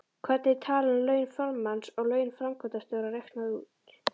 Hvernig er talan laun formanns og laun framkvæmdastjóra reiknuð út?